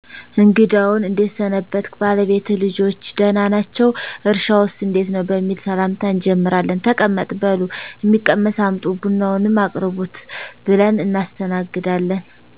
እግዳውን እዴት ሰነበትክ ባለቤትህ ልጆች ደህና ናቸው እርሻውስ እዴት ነው በሚል ሰላምታ እጀምራለን ተቀመጥ በሉ ሚቀመስ አምጡ ቡናውንም አቅርቡት ብለን እናስተናግዳለን